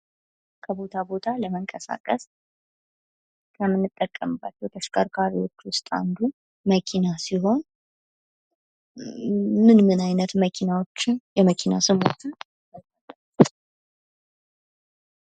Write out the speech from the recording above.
ከቦታ ቦታ ለመንቀሳቀስ ከምንጠቀምባችው ተሽከርካሪዎች መካከል አንዱ መኪና ሲሆን ምን ምን አይነት መኪናዎችን የመኪና ስሞችን ያቃሉ?